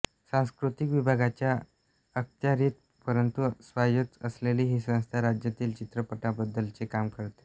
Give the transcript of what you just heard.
सांस्कृतिक विभागाच्या अखत्यारीत परंतु स्वायत्त असलेली ही संस्था राज्यातील चित्रपटांबद्दलचे काम करते